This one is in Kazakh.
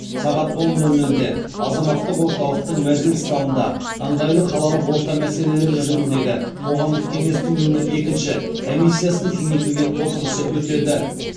сағат он нөл нөлде азаматтық орталықтың мәжіліс залында ыңғайлы қалалық орта мәселелері жөніндегі қоғамдық кеңестің нөмірі екінші комиссиясының кеңейтілген отырысы өтеді